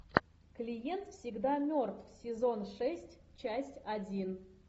клиент всегда мертв сезон шесть часть один